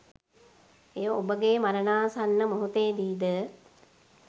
එය ඔබගේ මරණාසන්න මොහොතේදී ද